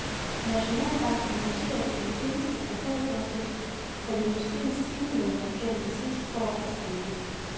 Nationalbanken noterer i sin seneste kvartalsoversigt, at industriens timelønninger gennem det sidste år er steget.